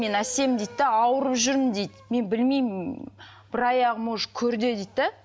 мен әсем дейді де ауырып жүрмін дейді мен білмеймін бір аяғым уже көрде дейді де